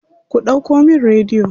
Ku ɗauko min rediyo.